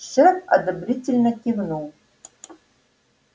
шеф одобрительно кивнул